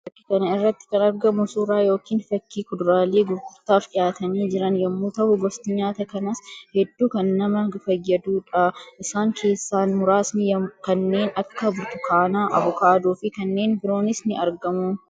Fakkii kana irratti kan argamu suuraa yookiin fakkii kuduraalee gurgurtaaf dhiyaatanii jiran yammuu tahu; gosti nyaata kanaas hedduu kan nama fayyaduu dha. Isaan keessaa muraasni kanneen akka burtukaanaa, Avukaadoo fi kanneen biroonis ni argamu.